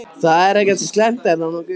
Það er ekkert slæmt, er það nokkuð?